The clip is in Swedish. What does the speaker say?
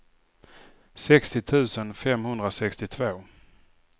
sextio tusen femhundrasextiotvå